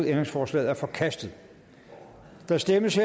ændringsforslaget er forkastet der stemmes